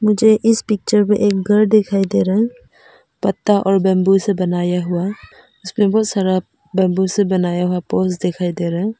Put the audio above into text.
मुझे इस पिक्चर में एक घर दिखाई दे रहा है पत्ता और बंबू से बनाया हुआ इसमें बहुत सारा बंबू से बनाया हुआ पोल्स दिखाई दे रहा है।